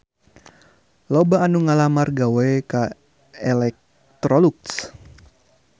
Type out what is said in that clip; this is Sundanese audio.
Loba anu ngalamar gawe ka Electrolux